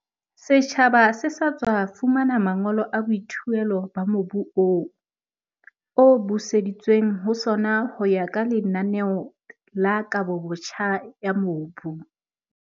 Setjhaba se sa tswa fumana mangolo a boithuelo ba mobu oo, o buseditsweng ho sona ho ya ka lenaneo la kabobotjha ya mobu.